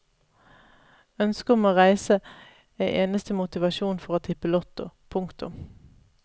Ønsket om å reise er eneste motivasjon for å tippe lotto. punktum